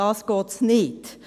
darum geht es nicht.